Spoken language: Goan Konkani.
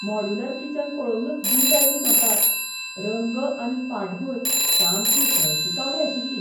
मॉड्युलर किचन पळोवनूच वीट आयली म्हाका. रंग आनी फाटभुंय सामकी हळशिकावणी आशिल्ली.